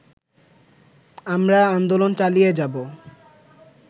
আমরা আন্দোলন চালিয়ে যাব